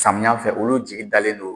Samiya fɛ olu jigi dalen don